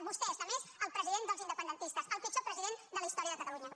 vostè és només el president dels independentistes el pitjor president de la història de catalunya